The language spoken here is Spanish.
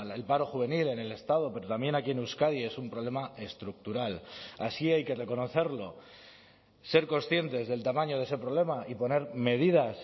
el paro juvenil en el estado pero también aquí en euskadi es un problema estructural así hay que reconocerlo ser conscientes del tamaño de ese problema y poner medidas